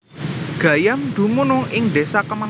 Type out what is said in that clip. Gayam dumunung ing desa kemawon